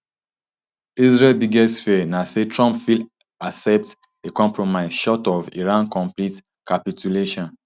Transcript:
israel biggest fear na say trump fit accept a compromise short of iran complete capitulation